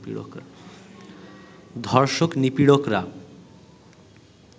ধর্ষক-নিপীড়করা